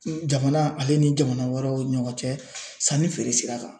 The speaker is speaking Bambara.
Jamana ale ni jamana wɛrɛw ni ɲɔgɔn cɛ sanni feere sira kan